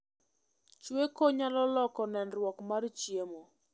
Chweko nyalo loko nenruok mar chiemo